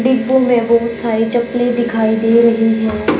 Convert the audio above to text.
डिब्बों में बहोत सारी चप्पलें दिखाई दे रही हैं।